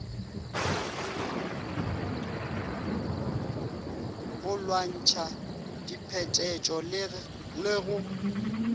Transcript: go lwantšha diphetetšo le go